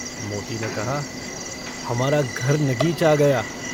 मोती ने कहा - हमारा घर नगीच आ गया।